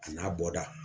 A n'a bɔda